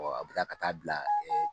a bɛ ka ka taa bila